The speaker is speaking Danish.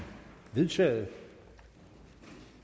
synes at